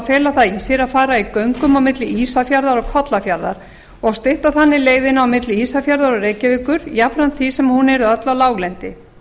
það í sér að fara í göngum á milli ísafjarðar og kollafjarðar og stytta þannig leiðina milli ísafjarðar og reykjavíkur jafnframt því sem hún yrði öll á láglendi